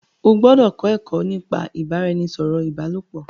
O gbọdọ kọ ẹkọ nípa ibaraẹnisọrọ ibalopo!